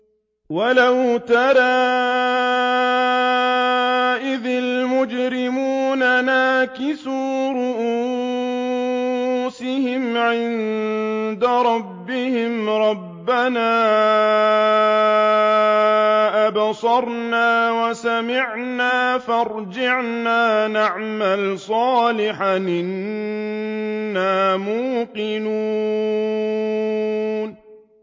وَلَوْ تَرَىٰ إِذِ الْمُجْرِمُونَ نَاكِسُو رُءُوسِهِمْ عِندَ رَبِّهِمْ رَبَّنَا أَبْصَرْنَا وَسَمِعْنَا فَارْجِعْنَا نَعْمَلْ صَالِحًا إِنَّا مُوقِنُونَ